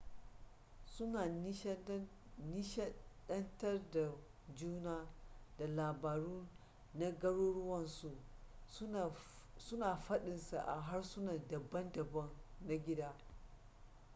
suna nishadantar da juna da labaru na garuruwansu suna fadinsa a harsuna dabam-dabam na gida